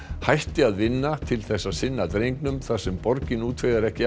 hætti að vinna til að sinna drengnum þar sem borgin útvegar ekki